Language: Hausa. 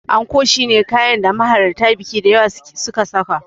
Anko shine kayan da mahalarta biki da yawa suka saka.